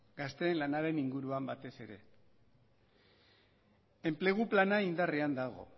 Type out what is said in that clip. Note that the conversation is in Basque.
gazteen lanaren inguruan batez ere enplegu plana indarrean dago